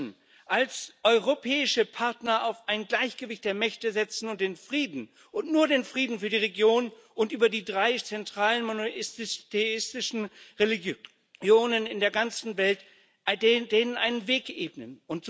Wir müssen als europäische Partner auf ein Gleichgewicht der Mächte setzen und dem Frieden und nur dem Frieden für die Region und den drei zentralen monotheistischen Religionen in der ganzen Welt einen Weg ebnen.